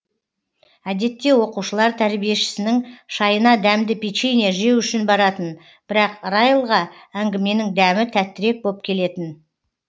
әдетте оқушылар тәрбиешісінің шайына дәмді печенье жеу үшін баратын бірақ райлға әңгіменің дәмі тәттірек боп келетін